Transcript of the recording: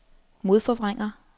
modforvrænger